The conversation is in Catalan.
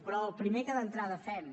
però el primer que d’entrada fem